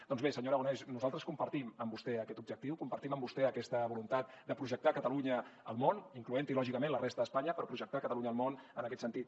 doncs bé senyor aragonès nosaltres compartim amb vostè aquest objectiu compartim amb vostè aquesta voluntat de projectar catalunya al món incloent hi lògicament la resta d’espanya però projectar catalunya al món en aquest sentit